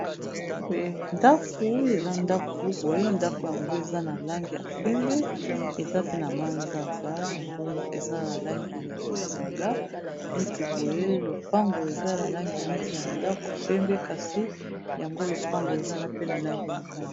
Ndako eza ndako boye ndako yango eza na langi ya pembe eza pe na manzanza yango eza na langi ya bozinga neti boye lopango eza na langi neti ya ndako pembe kasi yango lopango ezana pe na langi ya mwindu.